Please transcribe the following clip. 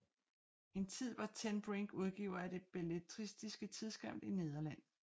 En tid var ten Brink udgiver af det belletristiske tidsskrift Nederland